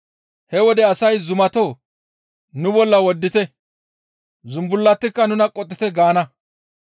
He wode asay, ‹Zumatoo! Nu bolla woddite; zumbullatikka nuna qottite!› gaana.